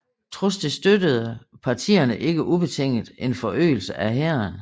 Trods det støttede partierne ikke ubetinget en forøgelse af hæren